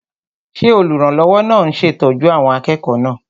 Ṣé olùrànlọ́wọ́ náà ń ṣètọ́jú àwọn akẹ́kọ̀ọ́ náà?